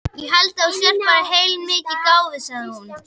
Ég held þú sért bara heilmikið gáfuð, sagði hún.